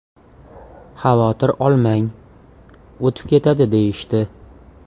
Xavotir olmang, o‘tib ketadi deyishdi.